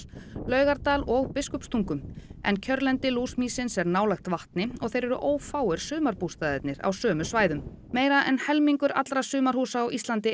Laugardal og Biskupstungum en kjörlendi lúsmýsins er nálægt vatni og þeir eru ófáir sumarbústaðirnir á sömu svæðum meira en helmingur allra sumarhúsa á Íslandi